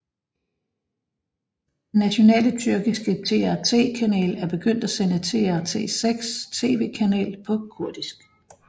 Den nationale tyrkiske TRT kanal er begyndt at sende TRT6 TV kanal på kurdisk